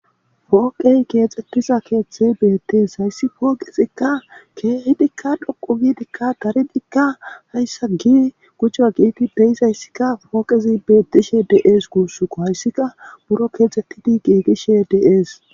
Pooqey keexxettiza keeththe beettees hayssi pooqezikka keehidikka dhoqu giidikka daridikka hayssa gi gucha giigi deyizayssikka pooqezi bettishe dees guussuko hayssika buro keexxettidi giigishe dees